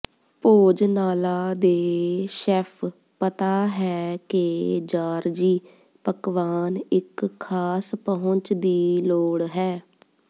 ਭੋਜਨਾਲਾ ਦੇ ਸ਼ੈੱਫ ਪਤਾ ਹੈ ਕਿ ਜਾਰਜੀ ਪਕਵਾਨ ਇੱਕ ਖਾਸ ਪਹੁੰਚ ਦੀ ਲੋੜ ਹੈ